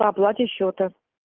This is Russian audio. при оплате счета